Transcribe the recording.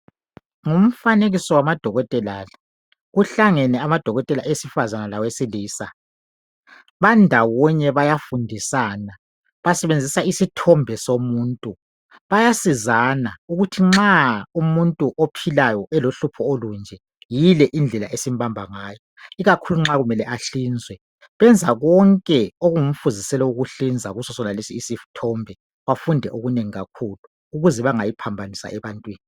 ngumfanekiso wama dokotela lo kuhlangene amadokotela awesifazana lawesilisa bandawonye bayafundisana basebenzisa isithombe somuntu bayasizana ukuthi nxa umuntu ophilayo elohlupho olunje yile indlela esimbamba ngayo ikakhulu nxa kumele ahlinzwe benza konke okungumfuziselo wokuhlinza kuso sonalesi isithombe bafunde okunengi kakhulu ukuze bangayiphambanisa ebantwini